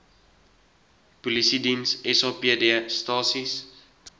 polisiediens sapd stasies